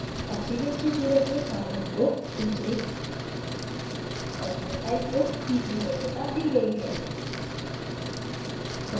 oxygens से जुड़े हुए carbon को दूसरी और methyl को तीसरी वरीयता दी गयी है